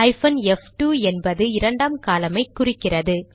hyphen எஃப்2 என்பது இரண்டாம் காலம் ஐ குறிக்கிறது